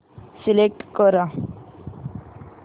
select कर